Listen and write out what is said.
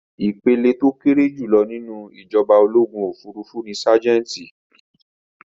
Ìpele tó kéré jùlọ nínú ìjọba ológun òfurufú ní ságẹ́ńtì.